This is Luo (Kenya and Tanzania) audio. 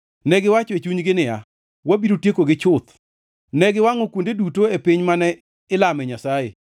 Negiwacho e chunygi niya, “Wabiro tiekogi chuth!” Ne giwangʼo kuonde duto e piny mane ilame Nyasaye.